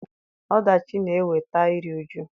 Ọdachi na-eweta iri uju.